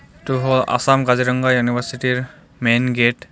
এইটো হ' আছাম কাজিৰঙা ইউনিভাৰ্চিটি ৰ মেইন গেট .